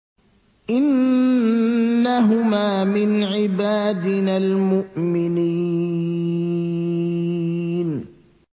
إِنَّهُمَا مِنْ عِبَادِنَا الْمُؤْمِنِينَ